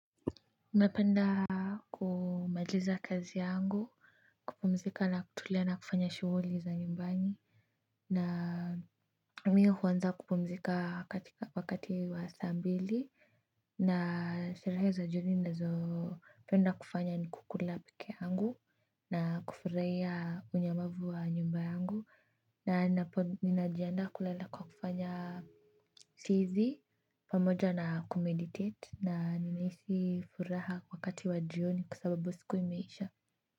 Napenda kumaliza kazi yangu kupumzika na kutulia na kufanya shughuli za nyumbani na mie huanza kupumzika wakati wa saa mbili na sherehe za jioni nazo penda kufanya ni kukula peke yangu na kufurahia unyamavu wa nyumba yangu na ninapo ninajianda kulala kwa kufanya tizi pamoja na kumeditate na ninahisi furaha wakati wa jioni kwa sababu siku imeisha.